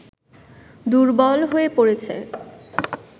দুর্বল হয়ে পড়েছে